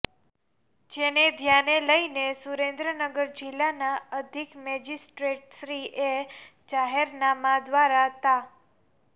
જેને ધ્યાને લઈ સુરેન્દ્રનગર જિલ્લાના અધિક મેજીસ્ટ્રેટશ્રીએ જાહેરનામાં દ્વારા તા